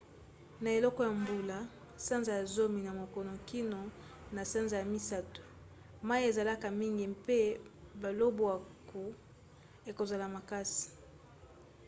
na eleko ya mbula sanza ya zomi na moko kino na sanza ya misato mai ezalaka mingi mpe balobwaku ekozala makasi